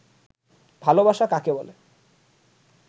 ভালবাসা কাকে বলে